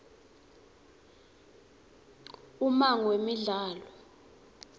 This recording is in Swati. ummango wemidlalo